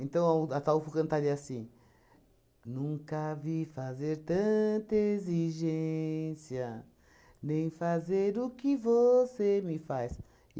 Então, o Ataulfo cantaria assim... Nunca vi fazer tanta exigência, nem fazer o que você me faz.